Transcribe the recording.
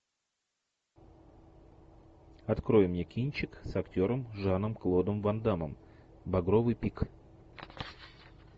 открой мне кинчик с актером жаном клодом ван дамом багровый пик